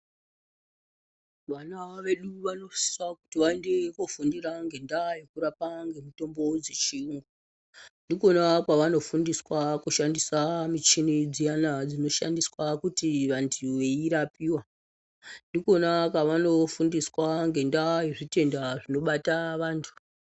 Vanawo vedu vanosisa kuti vaende kofundira ngendaa yekurapa nemitombo dzechiyungu ndikona kwavanofundiswa kushandiswa michini dziyana dzinoshandiswe kuti vanthu veirapiwa ndikona pavanofundiswa ngendaa yezvitenda zvinobata vanthu.